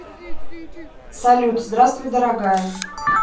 салют здравствуй дорогая